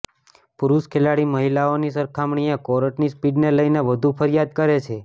પુરૂષ ખેલાડી મહિલાઓની સરખામણીએ કોર્ટની સ્પીડને લઇને વધુ ફરિયાદ કરે છે